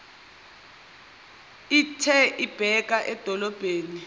ithe ibheka edolobheni